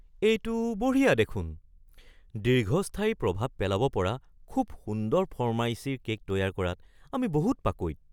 এইটো বঢ়িয়া দেখোন! দীৰ্ঘস্থায়ী প্ৰভাৱ পেলাব পৰা খুব সুন্দৰ ফৰ্মাইচীৰ কে'ক তৈয়াৰ কৰাত আমি বহুত পাকৈত।